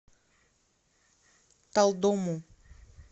талдому